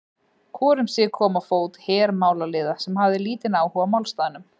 Hvor um sig kom á fót her málaliða, sem hafði lítinn áhuga á málstaðnum.